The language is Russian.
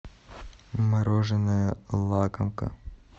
мороженое лакомка